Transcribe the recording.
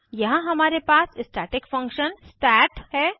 यहाँ हमारे पास स्टैटिक फंक्शन सत है